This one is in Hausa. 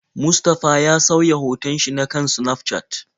Mustafa ya sauya hoton shi na kan Snafcat.